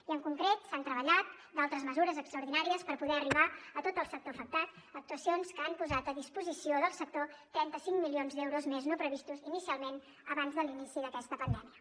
i en concret s’han treballat d’altres mesures extraordinàries per poder arribar a tot el sector afectat actuacions que han posat a disposició del sector trenta cinc milions d’euros més no previstos inicialment abans de l’inici d’aquesta pandèmia